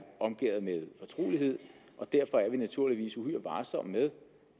omgærdet med fortrolighed derfor er vi naturligvis uhyre varsomme med